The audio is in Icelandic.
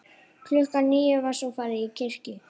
Klukkan níu var svo farið til kirkju.